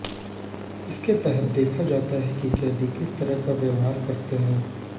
इसके तहत देखा जाता है कि कैदी किस तरह का व्यवहार करते हैं